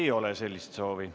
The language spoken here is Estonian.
Ei ole sellist soovi.